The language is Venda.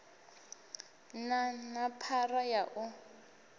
na na phara ya u